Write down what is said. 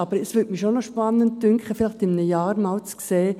Aber ich fände es schon spannend, vielleicht in einem Jahr einmal zu sehen: